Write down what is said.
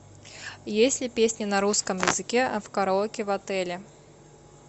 есть ли песни на русском языке в караоке в отеле